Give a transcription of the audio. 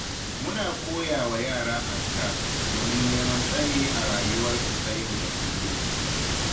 Muna koyawa yara azkar, domin neman tsari a rayuwarsu ta yau da kullum.